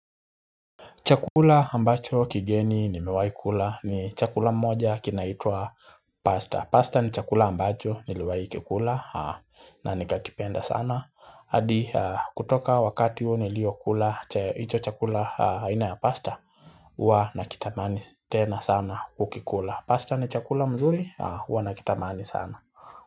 Chakula ambacho kigeni ni mewai kula ni chakula moja kinaitwa pasta. Pasta ni chakula ambacho niliwai kikula na nikakipenda sana. Adi kutoka wakati huu niliokula icho chakula haina ya pasta hua na kitamani tena sana kukikula. Pasta ni chakula mzuri huwa na kitamani sana.